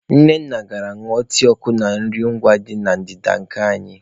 Nneka gara ịñụ tii ọkụ na nri ngwa dị na ndịda nke anyị.